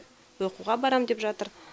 оқуға барам деп жатыр